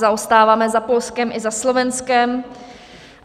Zaostáváme za Polskem i za Slovenskem.